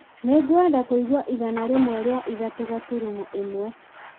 nĩ ngwenda kũigua igana rĩmwe rĩa ithatũ gaturumo ĩmwe